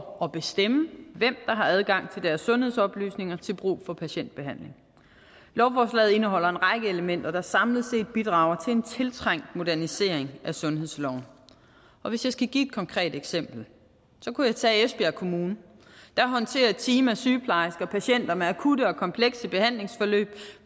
og bestemme hvem der har adgang til deres sundhedsoplysninger til brug for patientbehandling lovforslaget indeholder en række elementer der samlet set bidrager til en tiltrængt modernisering af sundhedsloven og hvis jeg skal give et konkret eksempel kunne jeg tage esbjerg kommune der håndterer et team af sygeplejersker patienter med akutte og komplekse behandlingsforløb